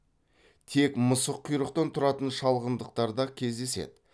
тек мысыққұйрықтан тұратын шалғандықтар да кездеседі